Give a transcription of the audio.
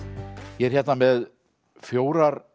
ég er hérna með fjórar